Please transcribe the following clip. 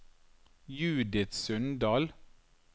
Judith Sundal